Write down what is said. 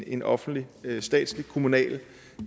en offentlig statslig kommunal